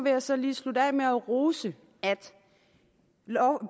jeg så lige slutte af med at rose at